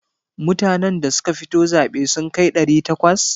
Mutanan da suka fito zaɓe sun kai ɗari takwas?